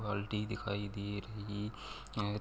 बाल्टी दिखाई दे रही है।